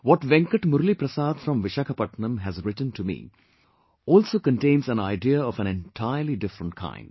What Venkat Murli Prasad from Vishakhapatnam has written to me also contains an idea of an entirely different kind